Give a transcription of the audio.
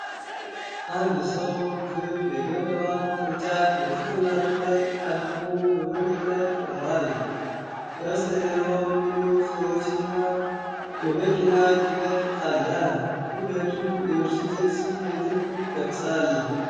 አንድ ሰው ክብ የገለባ ቅርጫት በጭንቅላቱ ላይ አድርጎ በመንገድ ላይ ቆሟል። ከበስተጀርባ ሌሎች ሰዎችና የመኪና ጭነት አለ። ክብደቱ የብስጭት ስሜትን ይገልጻል።